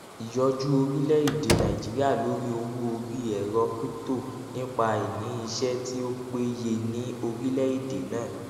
ìyọjú orilẹède nàìjíríà lórí owó orí ẹrọ crypto nípa àìní iṣẹ tí ó péye ní orilẹède náà